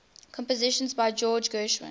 compositions by george gershwin